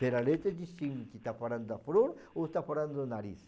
Pela letra, distingue se está falando da flor ou se está falando do nariz.